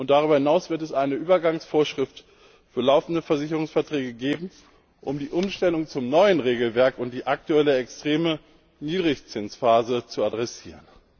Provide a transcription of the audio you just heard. Darüber hinaus wird es eine Übergangsvorschrift für laufende Versicherungsverträge geben, um die Umstellung zum neuen Regelwerk und die aktuelle extreme Niedrigzinsphase zu adressieren.